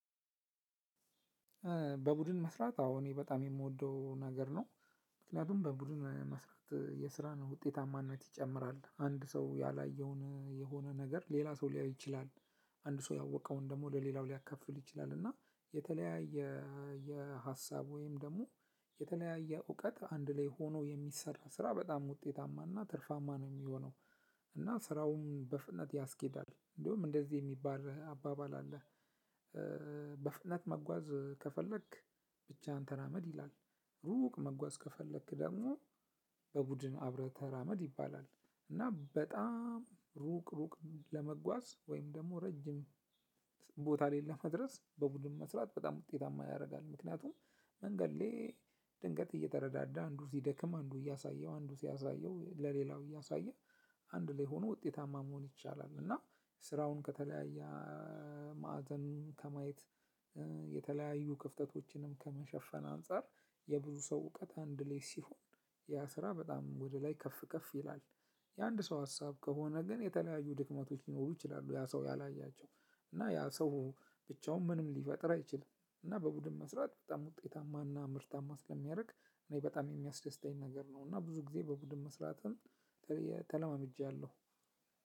በቡድን መስራት አዎ እኔ በጣም የምወደው ነገር ነው። ምክንያቱም በቡድን መስራት የስራን ውጤታማነት ይጨምራል። አንድ ሰው ያላየውን የሆነ ነገር ሌላ ሰው ሊያይ ይችላል። አንድ ሰው ያወቀውን ደግሞ ለሌላው ሊያከፍል ይችላል። እና የተለያየ የሀሳብ ወይም ደግሞ የተለያየ እውቀት አንድ ላይ ሆኖ የሚሰራ ስራ በጣም ውጤታማና ትርፋማ ነው የሚሆነው። እና ስራውን በፍጥነት ያስኬዳል። እንደውም እንደዚህ የሚባልህ አባባል አለ በፍጥነት መጓዝ ከፈለክ ብቻ አንተ ተራመድ ይላል። ሩቅ መጓዝ ከፈለክ ደግሞ በቡድን አብረህ ተራመድ ይባላል። እና በጣም ሩቅ ሩቅ ለመጓዝ ወይም ደግሞ ረጅም ድረስ በቡድን መስራት ውጤታማ ያደርጋል። ምክንያቱም አንድ አንዴ ድንገት እየተረዳዳ አንዱ ሲደክም አንዱ እያሳየው አንዱ ሲያሳየው ለሌላው እያሳየ አንድ ላይ ሁኖ ውጤታማ መሆን ይቻላል እና ስራውን ከተለያየ ማዕዘን ከማየት የተለያዩ ክፍተቶችንም ከመሸፈን አንፃር የብዙ ሰው እውቀት አንድ ላይ ሲሆን ያ ስራ በጣም ወደ ላይ ከፍ ከፍ ይላል። የአንድ ሰው ሀሳብ ከሆነ ግን የተለያዩ ድክመቶች ሊኖሩ ይችላሉ ያ ሰው ያላያቸው እና ያ ሰው ብቻውን ምንም ሊፈጥር አይችልም እና በቡድን መስራት በጣም ውጤታማና ምርታማ ስለሚያደርግ እኔ በጣም የሚያስደስተኝ ነገር ነው እና ብዙ ጊዜ በቡድን መስራትን ተለማምጃለሁ።